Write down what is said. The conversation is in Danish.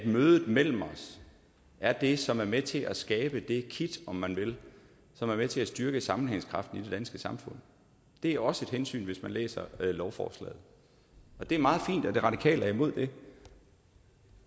mødet mellem os er det som er med til at skabe det kit om man vil som er med til at styrke sammenhængskraften i det danske samfund det er også et hensyn hvis man læser lovforslaget og det er meget fint at de radikale er imod det